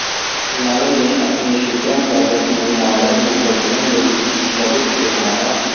ਨਰ ਨੇ ਆਪਣੀ ਸ਼ੁਕ੍ਰਮ ਪੈਕਟ ਨੂੰ ਮਾੱਡਲ ਨੂੰ ਬਦਲਣ ਲਈ ਇੱਕ ਸਪ੍ਰੈਡਿਕ ਕਿਹਾ ਹੈ